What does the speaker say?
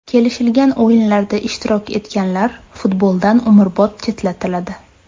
Kelishilgan o‘yinlarda ishtirok etganlar futboldan umrbod chetlatiladi.